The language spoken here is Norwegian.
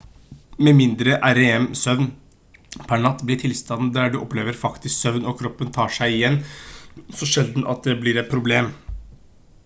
med mindre rem-søvn per natt blir tilstanden der du opplever faktisk søvn og kroppen tar seg igjen så sjelden at det blir et problem